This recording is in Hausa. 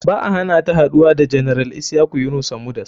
Ba a hanata haɗuwa da general isyaku yunusa mudas.